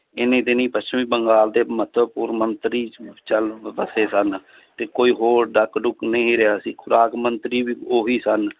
ਇੰਨੀ ਦਿਨੀ ਪੱਛਮੀ ਬੰਗਾਲ ਦੇ ਮਹੱਤਵਪੂਰਨ ਮੰਤਰੀ ਚੱਲ ਵਸੇ ਸਨ, ਤੇ ਕੋਈ ਹੋਰ ਨਹੀਂ ਰਿਹਾ ਸੀ ਖੁਰਾਕ ਮੰਤਰੀ ਵੀ ਉਹੀ ਸਨ